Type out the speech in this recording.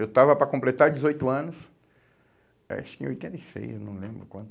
Eu estava para completar dezoito anos, acho que em oitenta e seis, eu não lembro quando.